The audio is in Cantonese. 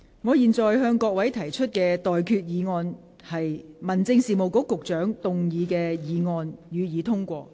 我現在向各位提出的待決議題是：民政事務局局長動議的議案，予以通過。